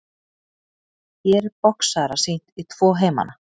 Hér er boxara sýnt í tvo heimana.